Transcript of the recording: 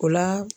O la